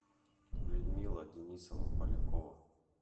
людмила денисова полякова